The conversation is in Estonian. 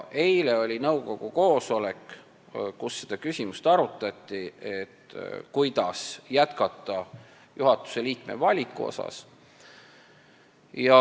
Eile oli nõukogu koosolek, kus arutati seda küsimust, kuidas jätkata juhatuse liikme valikuga.